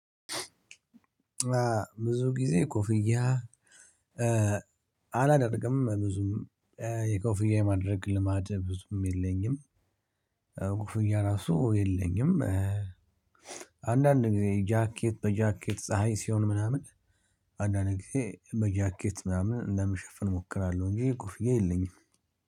ብዙ ጊዜ ኮፍያ አላደርግም ብዙም የጎፍያ የማድረግ ልማድ ብዙም የለኝም ኮፍያ ራሱ የለኝም። አንዳንድ ጊዜ ጃኬት በጃኬት ፀሀይ ሲሆን ምናምን አንዳንድ ጊዜ በጃኬት ምናምን ለመሸፈን እሞክራለሁ። እንጂ ኮፍያ የለኝም